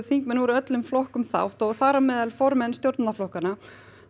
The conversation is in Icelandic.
þingmenn úr öllum flokkum þátt þar á meðal formenn stjórnarflokkanna